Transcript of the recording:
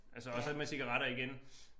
Altså og så med cigaretter igen